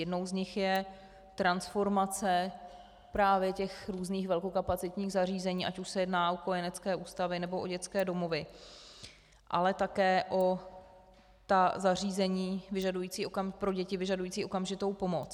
Jednou z nich je transformace právě těch různých velkokapacitních zařízení, ať už se jedná o kojenecké ústavy, nebo o dětské domovy, ale také o ta zařízení pro děti vyžadující okamžitou pomoc.